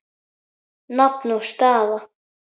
Nafn og staða?